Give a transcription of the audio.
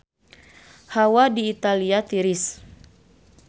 Hawa di Italia tiris